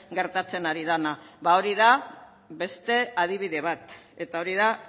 gertatzen ari dena ba hori da beste adibide bat eta hori da